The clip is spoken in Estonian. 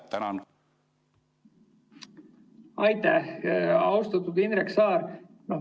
Aitäh, austatud Indrek Saar!